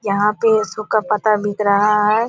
यहाँ पे सुखा पत्ता बिक रहा हैं।